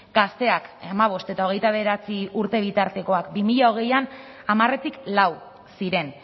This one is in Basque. gazteak hamabost eta hogeita bederatzi urte bitartekoak bi mila hogeian hamaretik lau ziren